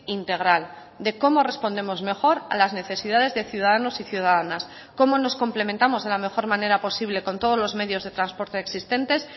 integral de cómo respondemos mejor a las necesidades de ciudadanos y ciudadanas cómo nos complementamos de la mejor manera posible con todos los medios de transporte existentes